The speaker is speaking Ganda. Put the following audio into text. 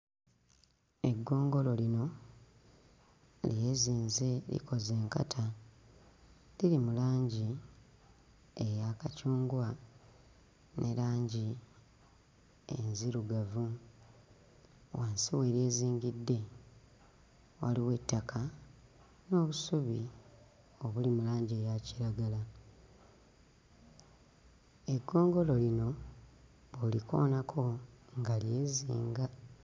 Eggongolo lino lyezinze likoze enkata liri mu langi eya kacungwa ne langi enzirugavu. Wansi we lyezingidde waliwo ettaka n'obusubi obuli mu langi eya kiragala. Eggongolo lino bw'olikoonako nga lyezinga.